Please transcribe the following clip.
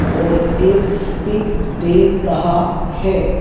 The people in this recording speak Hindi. और एक स्पीक दे रहा है।